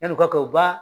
Yan'u ka kɛ u ba